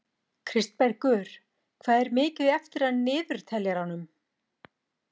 Kristbergur, hvað er mikið eftir af niðurteljaranum?